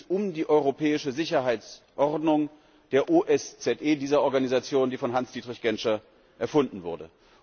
Hier geht es um die europäische Sicherheitsordnung der OSZE, dieser Organisation, die von Hans Dietrich Genscher erfunden wurde.